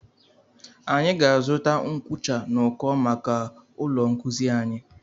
Anyị ga-azụta nkucha n'uko maka ụlọ nkuzi anyi.